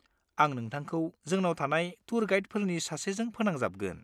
आं नोंथांखौ जोंनाव थानाय टुर गाइडफोरनि सासेजों फोनांजाबगोन।